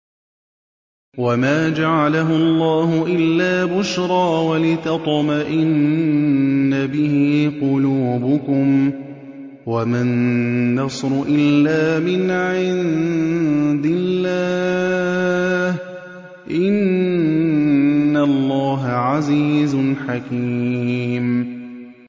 وَمَا جَعَلَهُ اللَّهُ إِلَّا بُشْرَىٰ وَلِتَطْمَئِنَّ بِهِ قُلُوبُكُمْ ۚ وَمَا النَّصْرُ إِلَّا مِنْ عِندِ اللَّهِ ۚ إِنَّ اللَّهَ عَزِيزٌ حَكِيمٌ